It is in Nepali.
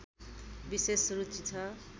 विशेष रुचि छ